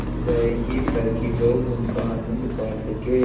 जाएगी ताकि लोग उनका आनन्द पा सकें